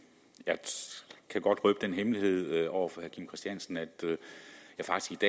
jeg kan godt røbe den hemmelighed over for herre kim christiansen at jeg faktisk